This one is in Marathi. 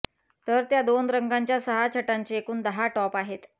तर त्या दोन रंगांच्या सहा छटांचे एकूण दहा टॉप आहेत